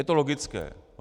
Je to logické.